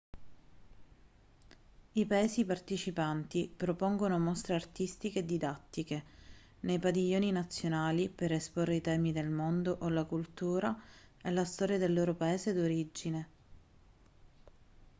i paesi partecipanti propongono mostre artistiche e didattiche nei padiglioni nazionali per esporre i temi del mondo o la cultura e la storia del loro paese d'origine